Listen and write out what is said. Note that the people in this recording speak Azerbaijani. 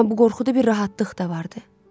Amma bu qorxuda bir rahatlıq da vardı.